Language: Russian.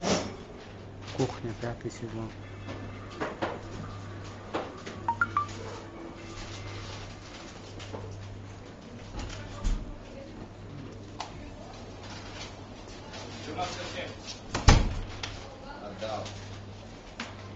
кухня пятый сезон